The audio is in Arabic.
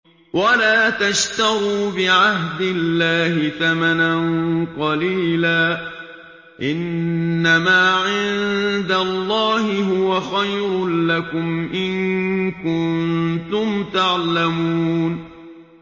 وَلَا تَشْتَرُوا بِعَهْدِ اللَّهِ ثَمَنًا قَلِيلًا ۚ إِنَّمَا عِندَ اللَّهِ هُوَ خَيْرٌ لَّكُمْ إِن كُنتُمْ تَعْلَمُونَ